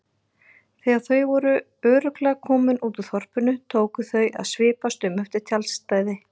Þegar þau voru örugglega komin út úr þorpinu tóku þau að svipast um eftir tjaldstæði.